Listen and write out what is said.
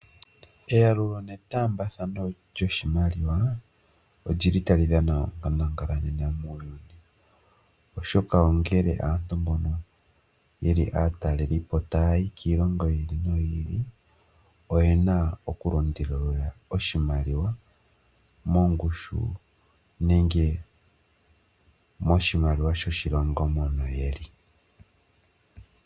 Eyalulo ne taambathano lyoshimaliwa otali dhana onkandangala methimbo lyongashingeyi ,oshoka aatalelipo ngele ta yayi kiilongo yilwe oyena okulundululila oshimaliwa mongushi nenge moshimaliwa shoshilongo moka ta yayi